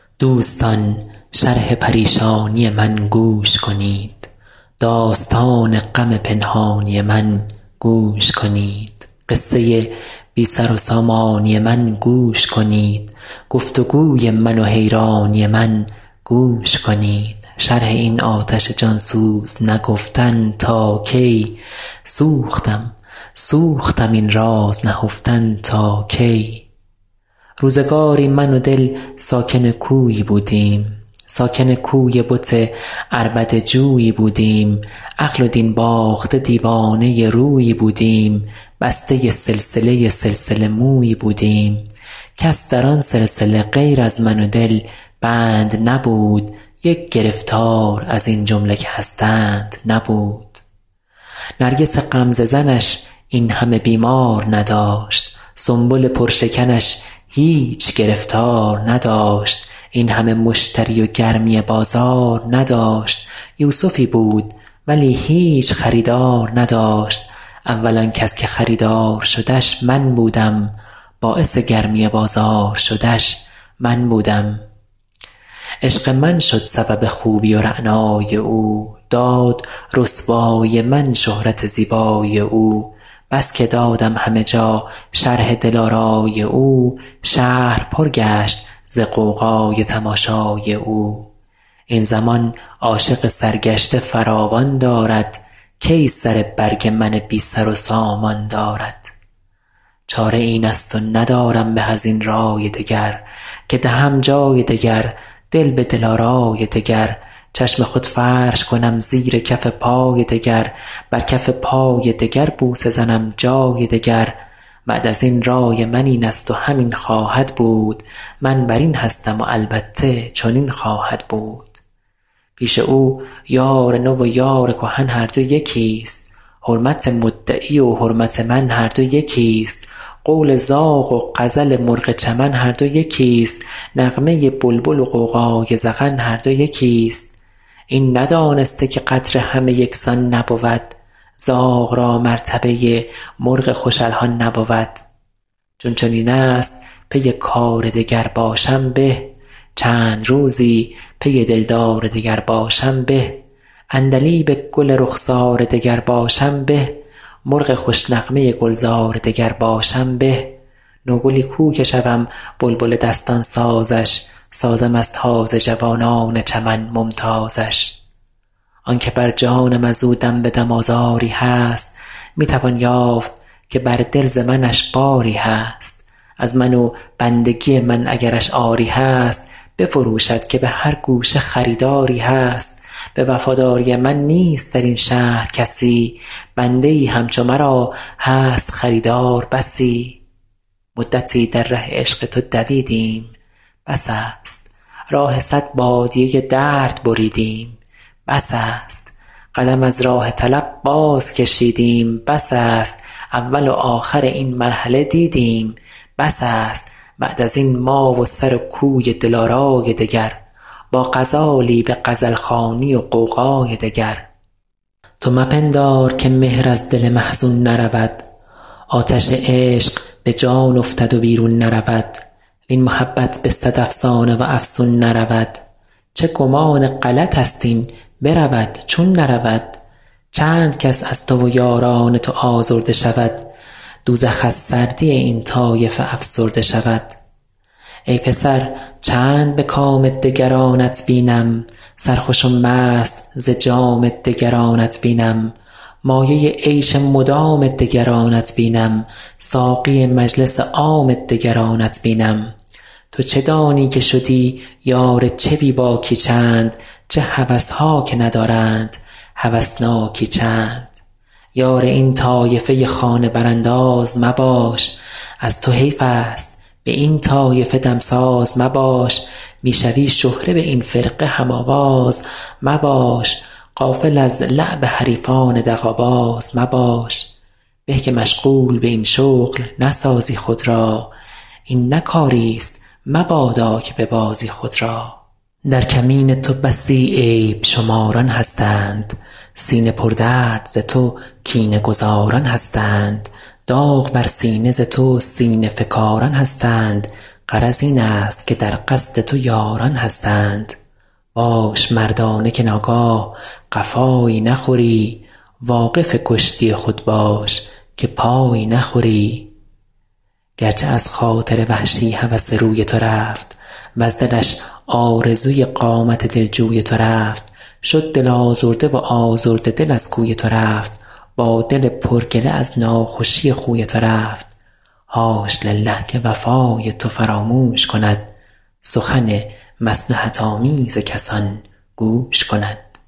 دوستان شرح پریشانی من گوش کنید داستان غم پنهانی من گوش کنید قصه بی سر و سامانی من گوش کنید گفت وگوی من و حیرانی من گوش کنید شرح این آتش جان سوز نگفتن تا کی سوختم سوختم این راز نهفتن تا کی روزگاری من و دل ساکن کویی بودیم ساکن کوی بت عربده جویی بودیم عقل و دین باخته دیوانه رویی بودیم بسته سلسله سلسله مویی بودیم کس در آن سلسله غیر از من و دل بند نبود یک گرفتار از این جمله که هستند نبود نرگس غمزه زنش این همه بیمار نداشت سنبل پر شکنش هیچ گرفتار نداشت این همه مشتری و گرمی بازار نداشت یوسفی بود ولی هیچ خریدار نداشت اول آن کس که خریدار شدش من بودم باعث گرمی بازار شدش من بودم عشق من شد سبب خوبی و رعنایی او داد رسوایی من شهرت زیبایی او بس که دادم همه جا شرح دلآرایی او شهر پر گشت ز غوغای تماشایی او این زمان عاشق سرگشته فراوان دارد کی سر برگ من بی سر و سامان دارد چاره این است و ندارم به از این رأی دگر که دهم جای دگر دل به دل آرای دگر چشم خود فرش کنم زیر کف پای دگر بر کف پای دگر بوسه زنم جای دگر بعد از این رای من این است و همین خواهد بود من بر این هستم و البته چنین خواهد بود پیش او یار نو و یار کهن هر دو یکی ست حرمت مدعی و حرمت من هر دو یکی ست قول زاغ و غزل مرغ چمن هر دو یکی ست نغمه بلبل و غوغای زغن هر دو یکی ست این ندانسته که قدر همه یکسان نبود زاغ را مرتبه مرغ خوش الحان نبود چون چنین است پی کار دگر باشم به چند روزی پی دلدار دگر باشم به عندلیب گل رخسار دگر باشم به مرغ خوش نغمه گلزار دگر باشم به نوگلی کو که شوم بلبل دستان سازش سازم از تازه جوانان چمن ممتازش آن که بر جانم از او دم به دم آزاری هست می توان یافت که بر دل ز منش باری هست از من و بندگی من اگرش عاری هست بفروشد که به هر گوشه خریداری هست به وفاداری من نیست در این شهر کسی بنده ای همچو مرا هست خریدار بسی مدتی در ره عشق تو دویدیم بس است راه صد بادیه درد بریدیم بس است قدم از راه طلب باز کشیدیم بس است اول و آخر این مرحله دیدیم بس است بعد از این ما و سر کوی دل آرای دگر با غزالی به غزل خوانی و غوغای دگر تو مپندار که مهر از دل محزون نرود آتش عشق به جان افتد و بیرون نرود وین محبت به صد افسانه و افسون نرود چه گمان غلط است این برود چون نرود چند کس از تو و یاران تو آزرده شود دوزخ از سردی این طایفه افسرده شود ای پسر چند به کام دگرانت بینم سرخوش و مست ز جام دگرانت بینم مایه عیش مدام دگرانت بینم ساقی مجلس عام دگرانت بینم تو چه دانی که شدی یار چه بی باکی چند چه هوس ها که ندارند هوسناکی چند یار این طایفه خانه برانداز مباش از تو حیف است به این طایفه دمساز مباش می شوی شهره به این فرقه هم آواز مباش غافل از لعب حریفان دغل باز مباش به که مشغول به این شغل نسازی خود را این نه کاری ست مبادا که ببازی خود را در کمین تو بسی عیب شماران هستند سینه پردرد ز تو کینه گذاران هستند داغ بر سینه ز تو سینه فکاران هستند غرض این است که در قصد تو یاران هستند باش مردانه که ناگاه قفایی نخوری واقف کشتی خود باش که پایی نخوری گر چه از خاطر وحشی هوس روی تو رفت وز دلش آرزوی قامت دلجوی تو رفت شد دل آزرده و آزرده دل از کوی تو رفت با دل پر گله از ناخوشی خوی تو رفت حاش لله که وفای تو فراموش کند سخن مصلحت آمیز کسان گوش کند